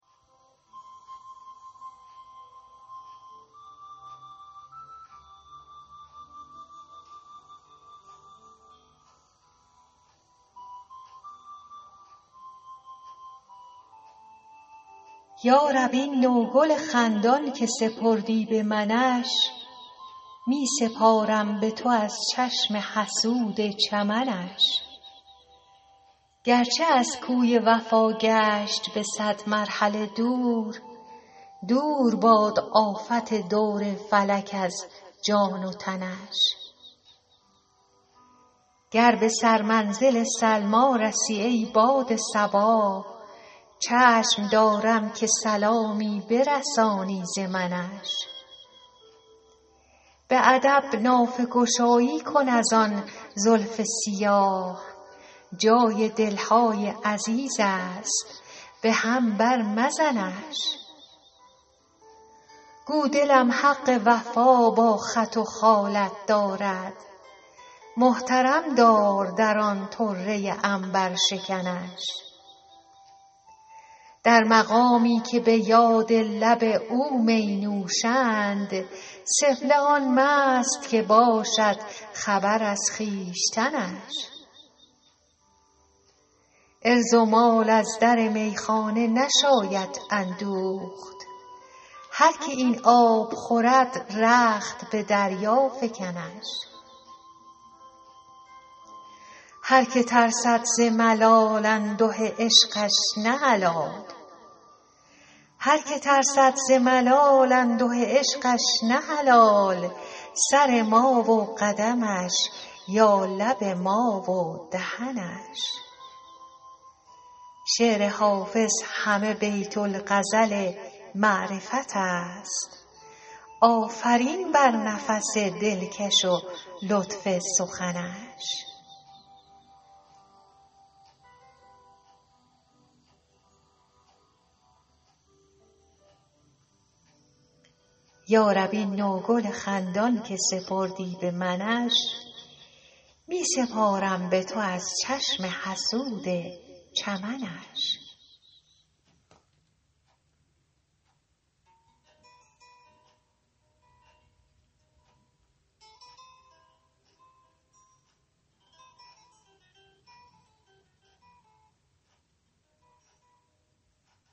یا رب این نوگل خندان که سپردی به منش می سپارم به تو از چشم حسود چمنش گرچه از کوی وفا گشت به صد مرحله دور دور باد آفت دور فلک از جان و تنش گر به سرمنزل سلمی رسی ای باد صبا چشم دارم که سلامی برسانی ز منش به ادب نافه گشایی کن از آن زلف سیاه جای دل های عزیز است به هم بر مزنش گو دلم حق وفا با خط و خالت دارد محترم دار در آن طره عنبرشکنش در مقامی که به یاد لب او می نوشند سفله آن مست که باشد خبر از خویشتنش عرض و مال از در میخانه نشاید اندوخت هر که این آب خورد رخت به دریا فکنش هر که ترسد ز ملال انده عشقش نه حلال سر ما و قدمش یا لب ما و دهنش شعر حافظ همه بیت الغزل معرفت است آفرین بر نفس دلکش و لطف سخنش